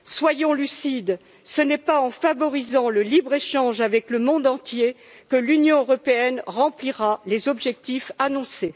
Soyons lucides, ce n'est pas en favorisant le libre échange avec le monde entier que l'Union européenne remplira les objectifs annoncés.